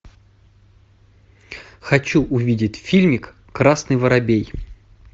хочу увидеть фильм красный воробей